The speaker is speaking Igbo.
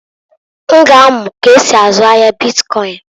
N ga amu k'esi azụ ahia bitkọịn.